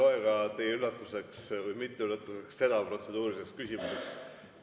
Ma ei loe teie üllatuseks või mitteüllatuseks ka seda protseduuriliseks küsimuseks.